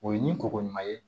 O ye ni kɔkɔ ye